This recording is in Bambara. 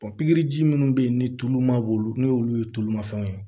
pikiriji minnu bɛ yen ni tulu ma bɔ olu n'olu ye tulumafɛnw ye